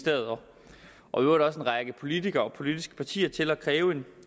og i øvrigt også en række politikere og politiske partier til at kræve en